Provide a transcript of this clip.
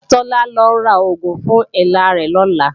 Tọ́lá ó lọ rògùn fún èélá rẹ̀ lọ̀la